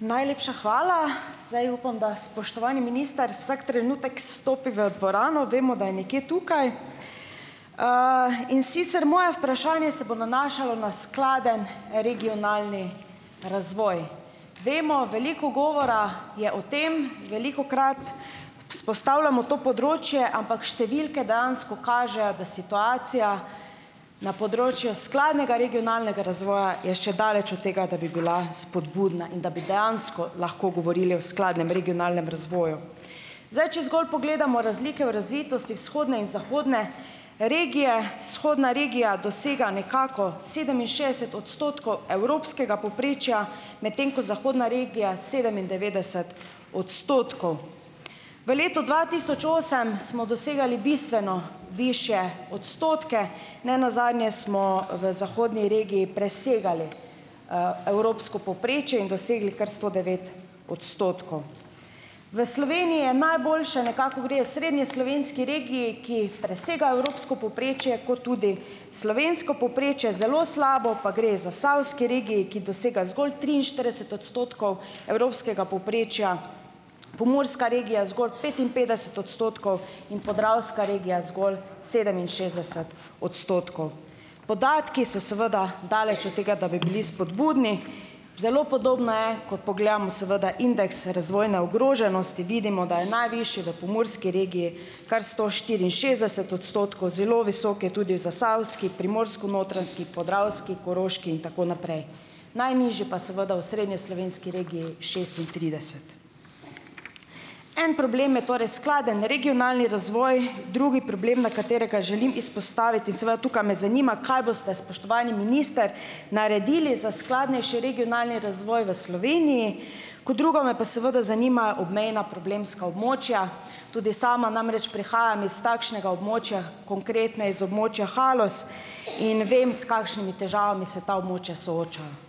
Najlepša hvala. Zdaj upam, da spoštovani minister vsak trenutek stopi v dvorano, vemo, da je nekje tukaj. In sicer moje vprašanje se bo nanašalo na skladen regionalni razvoj. Vemo, veliko govora je o tem, velikokrat izpostavljamo to področje, ampak številke dejansko kažejo, da situacija na področju skladnega regionalnega razvoja je še daleč od tega, da bi bila spodbudna in da bi dejansko lahko govorili o skladnem regionalnem razvoju. Zdaj, če zgolj pogledamo razlike v razvitosti vzhodne in zahodne regije, vzhodna regija dosega nekako sedeminšestdeset odstotkov evropskega povprečja, medtem ko zahodna regija sedemindevetdeset odstotkov. V letu dva tisoč osem smo dosegali bistveno višje odstotke, ne nazadnje smo v zahodni regiji presegali, evropsko povprečje in dosegli kar sto devet odstotkov. V Sloveniji najboljše nekako gre osrednjeslovenski regiji, ki presega evropsko povprečje kot tudi slovensko povprečje, zelo slabo pa gre zasavski regiji, ki dosega zgolj triinštirideset odstotkov evropskega povprečja, pomurska regija zgolj petinpetdeset odstotkov in podravska regija zgolj sedeminšestdeset odstotkov. Podatki so seveda daleč od tega, da bi bili spodbudni. Zelo podobno je, ko pogledam seveda indeks razvojne ogroženosti, vidimo, da je najvišji v pomurski regiji, kar sto štiriinšestdeset odstotkov, zelo visok je tudi v zasavski, primorsko-notranjski, podravski, koroški in tako naprej. Najnižji pa je seveda v osrednjeslovenski regiji, šestintrideset. En problem je torej skladen regionalni razvoj. Drugi problem, na katerega želim izpostaviti seveda, tukaj me zanima, kaj boste, spoštovani minister, naredili za skladnejši regionalni razvoj v Sloveniji. Kot drugo me pa seveda zanima obmejna problemska območja, tudi sama namreč prihajam iz takšnega območja, konkretneje iz območja Haloz, in vem, s kakšnimi težavami se ta območja soočajo.